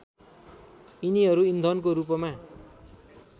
यिनीहरू इन्धनको रूपमा